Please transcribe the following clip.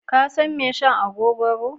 Ka san mai shan agogoro?